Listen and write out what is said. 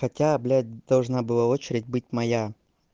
хотя блять должна была очередь быть моя